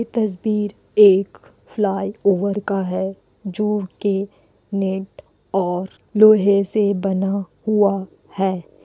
ये तस्बीर एक फ्लाईओवर का है जो के नेट और लोहे से बना हुआ है।